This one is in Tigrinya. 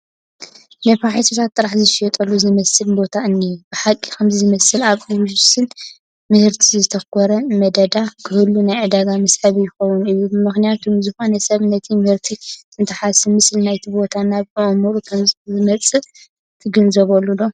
ነፋሒቶታት ጥራሕ ዝሽየጥሉ ዝመስል ቦታ እኒሀ፡፡ ብሓቂ ከምዚ ዝመሰለ ኣብ ውሱን ምህርቲ ዘተኮረ መደዳ ክህሉ ናይ ዕዳጋ መስሕብ ይኾን እዩ፡፡ ምኽንያቱም ዝኾነ ሰብ ነቲ ምሕርቲ እንትሓስብ ምስሊ ናይቲ ቦታ ናብ ኣእምሮኡ ከምዝመፅእ ትግንዘቡ ዶ?